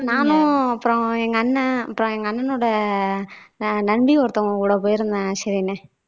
நானும் அப்புறம் எங்க அண்ணன் அப்புறம் எங்க அண்ணனோட நந்தி ஒருத்தங்க கூட போயிருந்தேன் ஷெரினு